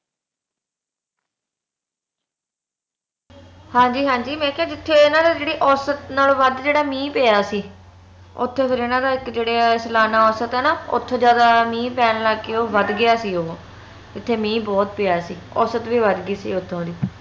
ਹਾਂਜੀ ਹਾਂਜੀ ਮੈ ਕਿਹਾ ਜਿਥੇ ਏਨਾ ਦੀ ਜਿਹੜੀ ਔਸਤ ਨਾਲੋਂ ਵੱਧ ਜਿਹੜਾ ਮੀਂਹ ਪਿਆ ਸੀ ਓਥੇ ਫੇਰ ਏਨਾ ਦਾ ਇਕ ਜੇਹੜਾ ਔਸਤ ਹੈ ਨਾ ਓਥੇ ਜਿਆਦਾ ਮੀਂਹ ਪੈਣ ਲੱਗ ਕੇ ਓਹ ਵੱਧ ਗਿਆ ਸੀ ਉਹ ਓਥੇ ਮੀਂਹ ਬਹੁਤ ਪਿਆ ਸੀ ਔਸਤ ਵੀ ਵੱਧ ਗਈ ਸੀ ਓਥੋਂ ਦੀ